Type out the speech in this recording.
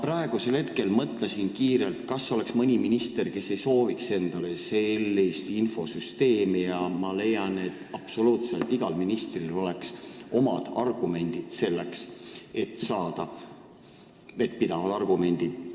Samas ma hetk tagasi mõtlesin kiirelt, kas oleks mõni minister, kes ei sooviks sellist infosüsteemi, ja leidsin, et absoluutselt igal ministril oleks selle poolt esitada omad vettpidavad argumendid.